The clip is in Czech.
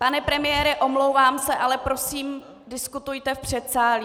Pane premiére, omlouvám se, ale prosím, diskutujte v předsálí.